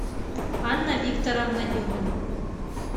анна викторовна демина